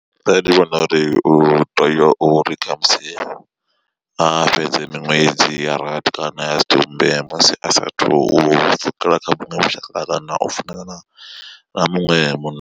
Nṋe ndi vhona uri u tea u ri khamusi a fhedze miṅwedzi ya rathi kana ya sumbe musi asathu pfhukela kha vhuṅwe vhushaka kana u funana na muṅwe munna.